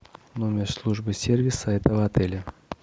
номер службы сервиса этого отеля